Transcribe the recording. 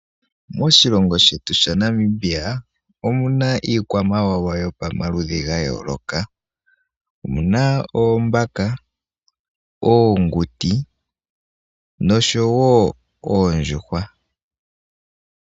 Moshilongo shetu sha Namibia omuna ikwamawawa yomaludhi ga yooloka. Omuna oombaka, oonguti nosho woo oondjuhwa.